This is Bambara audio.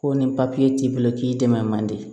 Ko ni papiye t'i bolo k'i dɛmɛ man di